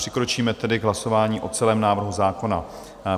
Přikročíme tedy k hlasování o celém návrhu zákona.